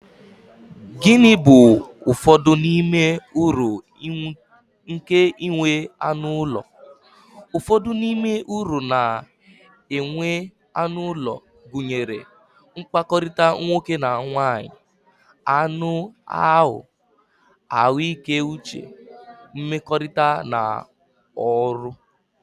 Gịnị bụ ụfọdụ n'ime uru nke inwe anụ ụlọ? Ụfọdụ n'ime uru na-enwe anụ ụlọ, gụnyere, mkpakọrịta nwoke na nwaanyị, anụ ahụ, ahụike uche, nmekorita, na ọrụ.